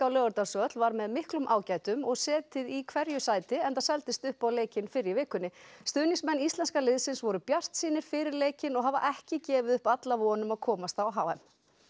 Laugardalsvöll var með miklum ágætum og setið í hverju sæti enda seldist upp á leikinn fyrr í vikunni stuðningsmenn íslenska liðsins voru bjartsýnir fyrir leikinn og hafa ekki gefið upp alla von um að komast á h m